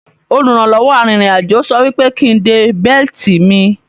olùrànlọ́wọ́ àrin rìn àjọ sò wípé kín dé belti mí